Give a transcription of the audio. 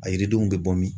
A yiridenw bɛ bɔ min